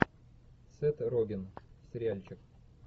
сет роген сериальчик